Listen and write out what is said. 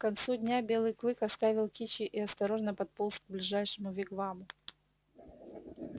к концу дня белый клык оставил кичи и осторожно подполз к ближайшему вигваму